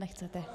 Nechcete.